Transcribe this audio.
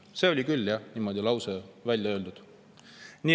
See lause oli küll jah niimoodi välja öeldud.